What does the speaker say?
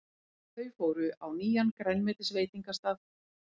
Þau fóru á nýjan grænmetisveitingastað.